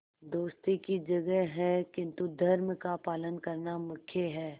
दोस्ती की जगह है किंतु धर्म का पालन करना मुख्य है